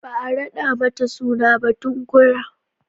Ba a raɗa mata suna ba tukunna